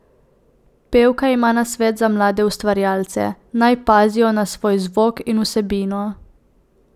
Pevka ima nasvet za mlade ustvarjalce: "Naj pazijo na svoj zvok in vsebino.